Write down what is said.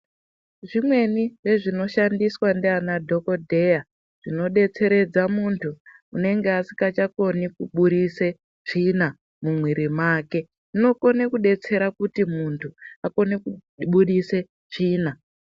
Zvimweni zve zvino shandiswa ndiana dhokodheya zvino detseredza muntu unenge asikacha koni ku budise tsvina mu mwiri make unokone ku detsera kuti muntu akone kubudise tsvina.